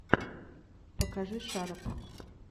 покажи шарап